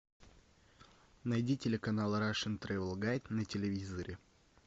найди телеканал рашн трэвел гайд на телевизоре